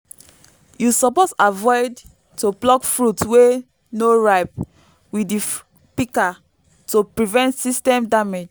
you suppose avoid to pluck fruit wey no ripe with di pika to prevent sytem damage